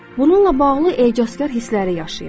Bununla bağlı ecazkar hissləri yaşayın.